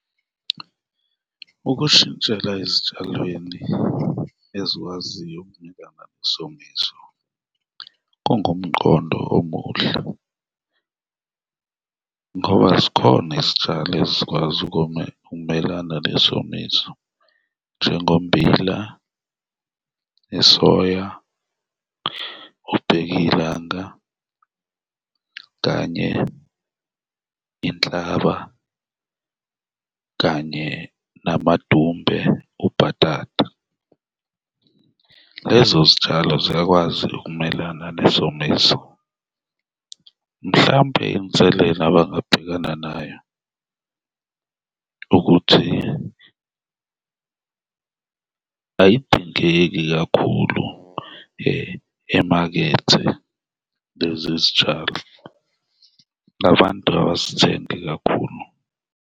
Ukushintshela ezitshalweni ezikwaziyo ukumelana nesomiso kungumqondo omuhle ngoba zikhona izitshalo ezikwazi ukoma, ukumelana nesomiso, njengommbila nesoya, ubheka ilanga kanye inhlaba kanye namadumbe, ubhatata, lezo zitshalo ziyakwazi ukumelana nesomiso. Mhlawumbe inselela abangabhekana nayo ukuthi ay'dingeki kakhulu emakethe lezi zitshalo, abantu abazithengi kakhulu.